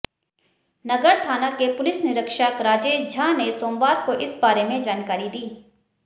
नगर थाना के पुलिस निरीक्षक राजेश झा ने सोमवार को इस बारे में जानकारी दी